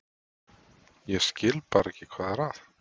Ég skil bara ekki hvað er að.